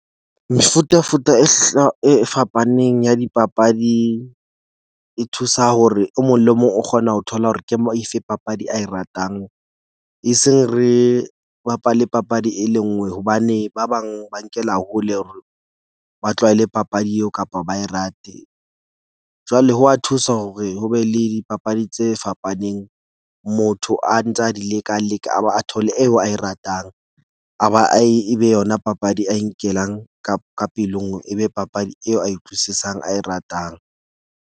Mefutafuta e e fapaneng ya dipapadi e thusa hore o mong le mong o kgona ho thola hore ke efe papadi a e ratang. Eseng re bapale papadi e le nngwe hobane ba bang ba nkela hole, ba tlwaele papadi eo kapa ba e rate. Jwale ho wa thusa hore ho be le dipapadi tse fapaneng. Motho a ntsa di leka leka a ba a thole eo a e ratang, a ba a e be yona papadi a nkelang ka pelong. E be papadi eo a e utlwisisang, a e ratang.